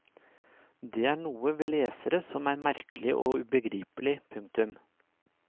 Det er noe ved lesere som er merkelig og ubegripelig. punktum